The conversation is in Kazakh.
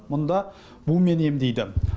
мұнда бумен емдейді